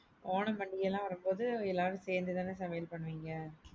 ஓணம் பண்டிகை எல்லாம் வரும்போது எல்லாரும் சேந்து தான சமையல் பண்ணுவீங்க?